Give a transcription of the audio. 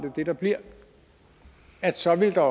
det bliver så vil der